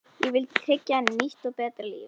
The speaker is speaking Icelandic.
Ég vildi tryggja henni nýtt og betra líf.